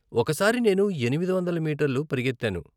ఒకసారి నేను ఎనిమిది వందల మీటర్లు పరిగెత్తాను.